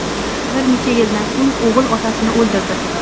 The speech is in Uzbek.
Bir necha yildan so‘ng o‘g‘il otasini o‘ldirdi.